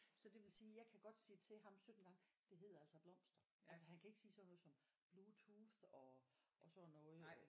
Så det vil sige jeg kan godt sige til ham 17 gange det hedder altså blomster altså han kan ikke sige sådan noget som bluetooth og og sådan noget øh